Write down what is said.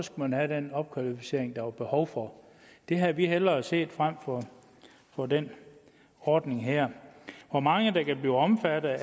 man have den opkvalificering der var behov for det havde vi hellere set frem for for den ordning her hvor mange der kan blive omfattet